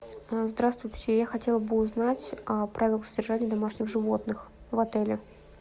здравствуйте я хотела бы узнать о правилах содержания домашних животных в отеле